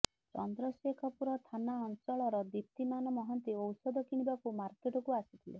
ଚନ୍ଦ୍ରଶେଖପୁର ଥାନା ଅଞ୍ଚଳର ଦୀପ୍ତିମାନ ମହାନ୍ତି ଔଷଧ କିଣିବାକୁ ମାର୍କେଟକୁ ଆସିଥିଲେ